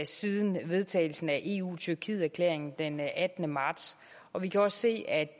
siden vedtagelsen af eu tyrkiet erklæringen den attende marts og vi kan også se at